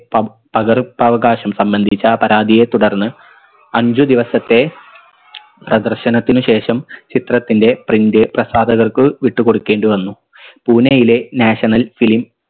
പ പകർപ്പവകാശം സംബന്ധിച്ച പരാതിയെ തുടർന്ന് അഞ്ചു ദിവസത്തെ പ്രദർശനത്തിന് ശേഷം ചിത്രത്തിൻറെ print പ്രസാധകർക്ക് വിട്ട് കൊടുക്കേണ്ടി വന്നു പൂനയിലെ national film